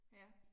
Ja